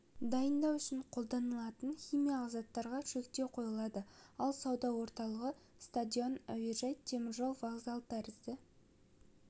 дайындау үшін қолданылатын химиялық заттарға шектеу қойылады ал сауда орталығы стадион әуежай теміржол вокзалы тәрізді